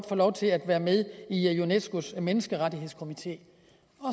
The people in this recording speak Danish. få lov til at være med i unescos menneskerettighedskomité